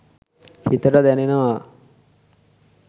හිතට දැනෙනවා